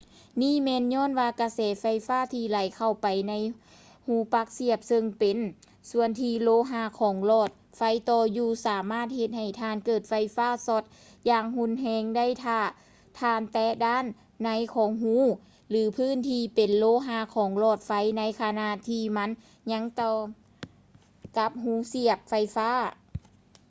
ນີ້ແມ່ນຍ້ອນວ່າກະແສໄຟຟ້າທີ່ໄຫຼເຂົ້າໄປໃນຮູປັກສຽບເຊິ່ງເປັນສ່ວນທີ່ໂລຫະຂອງຫຼອດໄຟຕໍ່ຢູ່ ສາມາດເຮັດໃຫ້ທ່ານເກີດໄຟຟ້າຊັອດຢ່າງຮຸນແຮງໄດ້ຖ້າທ່ານແຕະດ້ານໃນຂອງຮູ ຫຼື ພື້ນທີ່ເປັນໂລຫະຂອງຫຼອດໄຟໃນຂະນະທີ່ມັນຍັງຕໍ່ກັບຮູສຽບໄຟຟ້າ